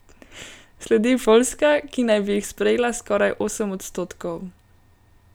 Sledi Poljska, ki naj bi jih sprejela skoraj osem odstotkov.